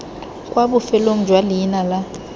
kwa bofelong jwa leina la